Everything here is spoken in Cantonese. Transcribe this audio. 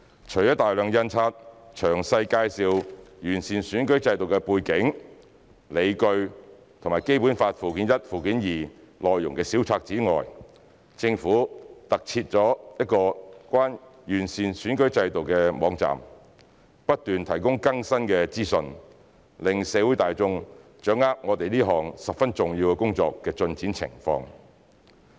除了大量印發詳細介紹完善選舉制度的背景、理據和《基本法》附件一和附件二內容的小冊子外，政府特設了一個有關完善選舉制度的網站，不斷提供更新的資訊，讓社會大眾掌握我們這項十分重要工作的進展情況。